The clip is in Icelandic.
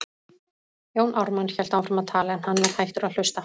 Jón Ármann hélt áfram að tala, en hann var hættur að hlusta.